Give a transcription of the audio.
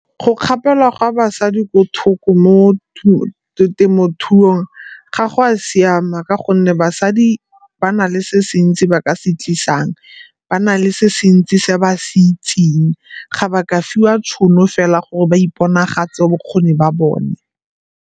Go kgapelwa ga basadi mo temothuong ga go a siama ka gonne basadi ba na le se sentsi ba ka se tlisang, ba na le se se ntsi se ba se itseng, ga ba ka fiwa tšhono fela gore ba iponagatse bokgoni ba bone.